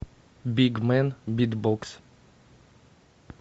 бигмэн битбокс